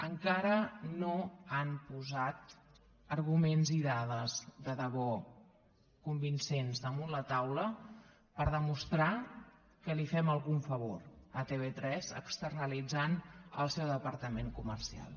encara no han posat arguments i dades de debò convincents damunt la taula per demostrar que li fem algun favor a tv3 externalitzant el seu departament comercial